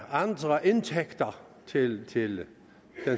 andre indtægter til til den